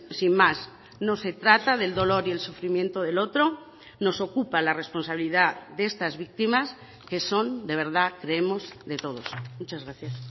sin más no se trata del dolor y el sufrimiento del otro nos ocupa la responsabilidad de estas víctimas que son de verdad creemos de todos muchas gracias